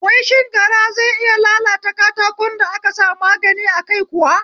Wai shin gara zai iya lalata katakon da aka sa magani a kai kuwa?